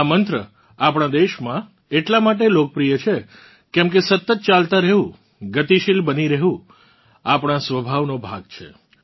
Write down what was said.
આ મંત્ર આપણાં દેશમાં એટલા માટે લોકપ્રિય છે કેમકે સતત ચાલતા રહેવું ગતિશીલ બની રહેવું આપણાં સ્વભાવનો ભાગ છે